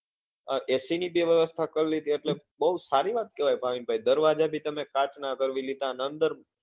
એ ac ની બી વ્યવસ્થા કર લીધી એટલે બઉ સારી વાત કેવાય ભાવિન ભાઈ દરવાજા પણ તમે કાચ નાં કર લીધા